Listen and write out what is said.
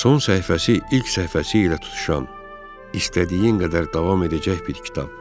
Son səhifəsi ilk səhifəsi ilə tutuşan, istədiyin qədər davam edəcək bir kitab.